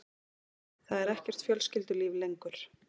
Það er ekkert fjölskyldulíf lengur.